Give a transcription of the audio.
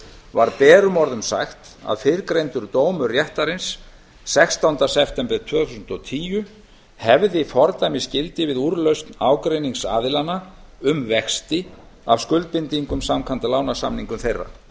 var berum orðum sagt að fyrrgreindur dómur réttarins sextánda september tvö þúsund og tíu hefði fordæmisgildi við úrlausn ágreinings aðilanna um vexti af skuldbindingum samkvæmt lánssamningum þeirra